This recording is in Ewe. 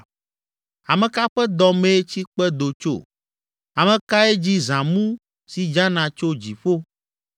Ame ka ƒe dɔ mee tsikpe do tso? Ame kae dzi zãmu si dzana tso dziƒo,